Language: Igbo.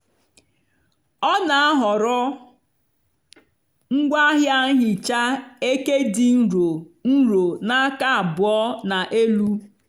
ọ na-ahọrọ ngwaahịa nhicha eke dị nro nro na aka abụọ na elu.